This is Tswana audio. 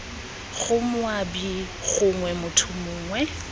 bgo moabi gongwe motho mongwe